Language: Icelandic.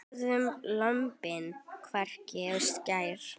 Borðum lömbin, hvekkt á skeri.